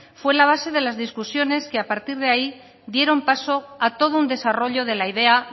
fue la base de las discusiones que a partir de ahí dieron paso a todo un desarrollo de la idea